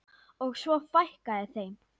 Og svo fækkaði þeim.